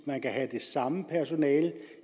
man kan have det samme personale